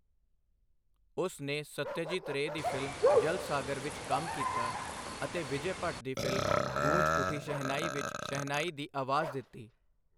ਉਸ ਨੇ ਸੱਤਿਆਜੀਤ ਰੇਅ ਦੀ ਫਿਲਮ 'ਜਲਸਾਗਰ' ਵਿੱਚ ਕੰਮ ਕੀਤਾ ਅਤੇ ਵਿਜੈ ਭੱਟ ਦੀ ਫਿਲਮ 'ਗੂੰਜ ਉੱਠੀ ਸ਼ਹਿਨਾਈ' ਵਿੱਚ ਸ਼ਹਿਨਾਈ ਦੀ ਆਵਾਜ਼ ਦਿੱਤੀ।